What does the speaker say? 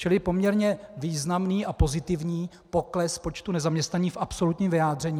Čili poměrně významný a pozitivní pokles počtu nezaměstnaných v absolutním vyjádření.